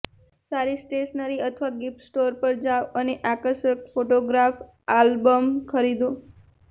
સારી સ્ટેશનરી અથવા gift store પર જાઓ અને આકર્ષક ફોટોગ્રાફ આલ્બમ ખરીદો